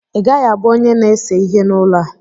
Ị gaghị abụ onye na-ese ihe n'ụlọ a!